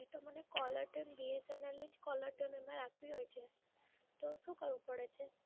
તો મને caller tune BSNL ની જ caller tune એમાં રાખવી હોય છે, તો શું કરવું પડે છે?